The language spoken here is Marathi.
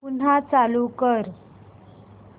पुन्हा चालू कर